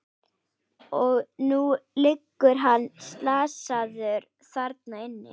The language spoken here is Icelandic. Og nú liggur hann slasaður þarna inni.